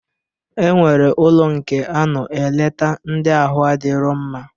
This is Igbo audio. E nwere ụlọ nke a nọ eleta ndị ahụ adirọ mma